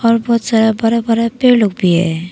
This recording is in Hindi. और बहुत सारा बड़ा बड़ा पेड़ लोग भी है।